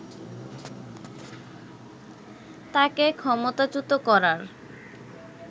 তাকে ক্ষমতাচ্যুত করার